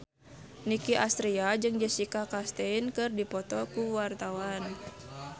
Nicky Astria jeung Jessica Chastain keur dipoto ku wartawan